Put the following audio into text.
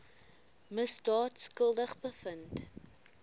misdaad skuldig bevind